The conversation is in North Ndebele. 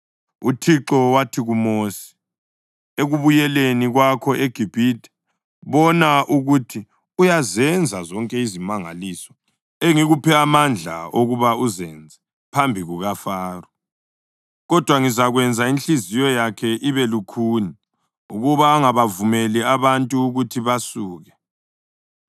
UThixo wathi kuMosi, “Ekubuyeleni kwakho eGibhithe, bona ukuthi uyazenza zonke izimangaliso engikuphe amandla okuba uzenze phambi kukaFaro. Kodwa ngizakwenza inhliziyo yakhe ibe lukhuni ukuba angabavumeli abantu ukuthi basuke.